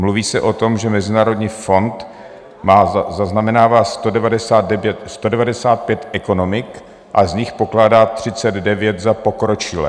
Mluví se o tom, že Mezinárodní fond zaznamenává 195 ekonomik a z nich pokládá 39 za pokročilé.